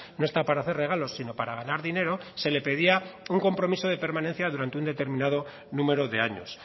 no está para hacer regalos sino para ganar dinero se le pedía un compromiso de permanencia durante un determinado número de años